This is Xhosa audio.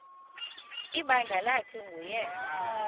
ibandla lathi nguyena